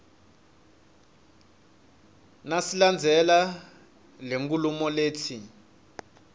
nasilandzela lenkhulumo letsi